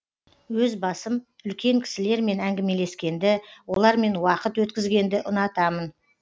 өз басым үлкен кісілермен әңгімелескенді олармен уақыт өткізгенді ұнатамын